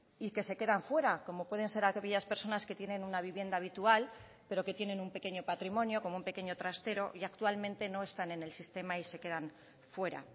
y que se quedan fuera como pueden ser aquellas personas que tienen una vivienda habitual pero que tienen un pequeño patrimonio como un pequeño trastero y actualmente no están en el sistema y se quedan fuera